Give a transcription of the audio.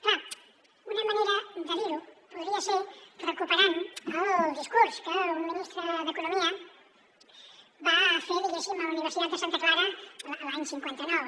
clar una manera de dir ho podria ser recuperant el discurs que un ministre d’econo mia va fer diguéssim a la universitat de santa clara l’any cinquanta nou